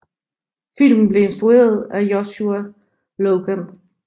Filmen blev instrueret af Joshua Logan